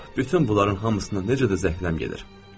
Ah, bütün bunların hamısına necə də zəhləm gedir.